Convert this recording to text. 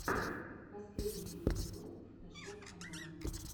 последний эпизод фотошоп канал